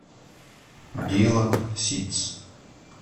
дилан ситтс